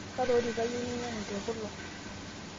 kaalo orika iyieu ninyangu tekulo